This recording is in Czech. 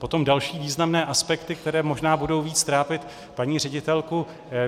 Potom další významné aspekty, které možná budou víc trápit paní ředitelku.